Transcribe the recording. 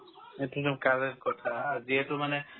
এইটোতো correct কথা যিহেতু মানে